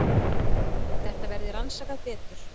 Þetta verði að rannsaka betur.